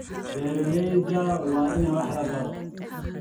Beeralayda waa in wax la baro.